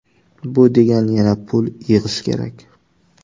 Bu degani yana pul yig‘ish kerak.